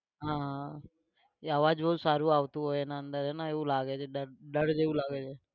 હા એ અવાજ બહુ સારું આવતું હોય એના અંદર એમાં એવું લાગે કે ડર, ડર જેવું લાગે છે.